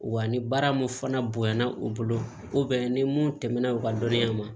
Wa ni baara mun fana bonyana o bolo ko bɛ ni mun tɛmɛn na u ka dɔnniya ma